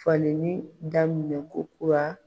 Falenin daminɛ kokura.